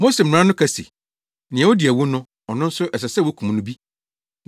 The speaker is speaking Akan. “Mose mmara no ka se, ‘Nea odi awu no, ɔno nso ɛsɛ sɛ wokum no bi.’